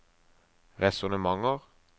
resonnementer